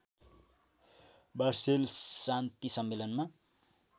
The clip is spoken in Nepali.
वार्सेल्स शान्ति सम्मेलनमा